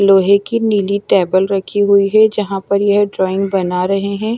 लोहे की नीली टेबल रखी हुई है जहाँ पर यह ड्राइंग बना रहे हैं।